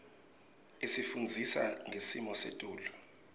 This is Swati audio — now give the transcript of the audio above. isifundzisa ngesimo selitulu